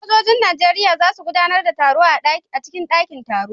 Sojojin nigeria zasu gudAnar da taro a dakin taro na ciki bariki